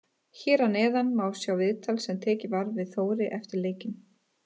Hér að neðan má sjá viðtal sem tekið var við Þóri eftir leikinn.